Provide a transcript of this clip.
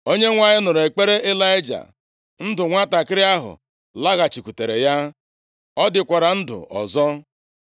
Onyenwe anyị nụrụ ekpere Ịlaịja, ndụ nwantakịrị ahụ laghachikwutere ya, ọ dịkwara ndụ ọzọ.